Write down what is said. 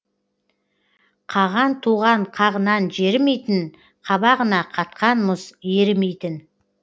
қаған туған қағынан жерімейтін қабағына қатқан мұз ерімейтін